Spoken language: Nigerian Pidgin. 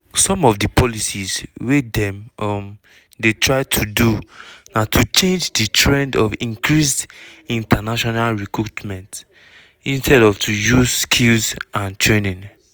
some of di policies wey dem um dey try do na to change di trend of increased international recruitment instead of to use skills and training.